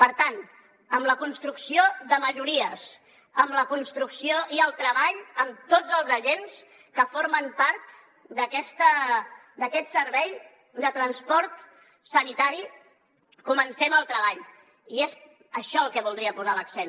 per tant amb la construcció de majories amb la construcció i el treball amb tots els agents que formen part d’aquest servei de transport sanitari comencem el treball i és en això en el que voldria posar l’accent